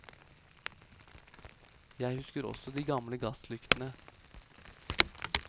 Jeg husker også de gamle gasslyktene.